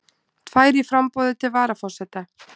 Tvær í framboði til varaforseta